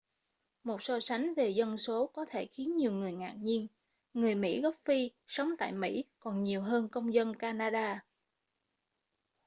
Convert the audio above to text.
một so sánh về dân số có thể khiến nhiều người ngạc nhiên người mỹ gốc phi sống tại mỹ còn nhiều hơn công dân canada